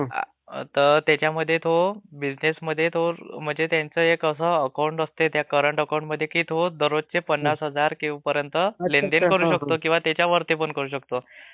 तर त्याच्यमध्ये तो बिझिनेसमध्ये त्यांचे एक असं अकाऊंट असते..त्या करंट अकाऊंटमध्ये की तो दररोजचे पन्नास हजारपर्यंत लेन देन करु शकतो... over lapping किंवा त्याच्यावरती पण करु शकतो..